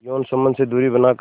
यौन संबंध से दूरी बनाकर